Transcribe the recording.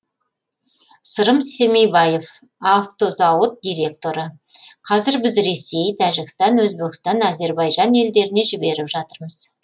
сырым семейбаев автозауыт директоры қазір біз ресей тәжікстан өзбекстан әзербайжан елдеріне жіберіп жатырмыз